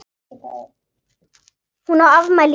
Hún á afmæli í dag.